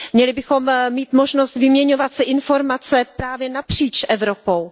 Měli bychom mít možnost vyměňovat si informace právě napříč Evropou.